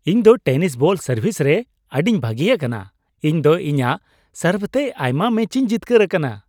ᱤᱧ ᱫᱚ tennis ball service ᱨᱮ ᱟᱹᱰᱤᱧ ᱵᱷᱟᱜᱮ ᱟᱠᱟᱱᱟ ᱾ ᱤᱧ ᱫᱚ ᱤᱧᱟᱜ ᱥᱟᱨᱵᱷ ᱛᱮ ᱟᱭᱢᱟ ᱢᱮᱪᱤᱧ ᱡᱤᱛᱠᱟᱹᱨ ᱟᱠᱟᱱᱟ ᱾